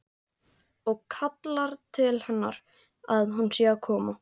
Og kallar til hennar að hún sé að koma.